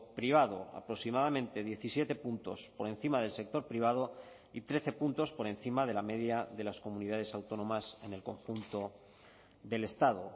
privado aproximadamente diecisiete puntos por encima del sector privado y trece puntos por encima de la media de las comunidades autónomas en el conjunto del estado